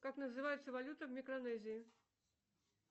как называется валюта в микронезии